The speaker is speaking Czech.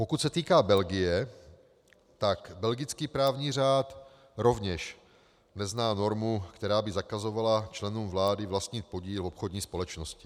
Pokud se týká Belgie, tak belgický právní řád rovněž nezná normu, která by zakazovala členům vlády vlastnit podíl v obchodní společnosti.